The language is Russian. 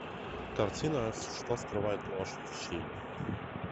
картина что скрывает ложь ищи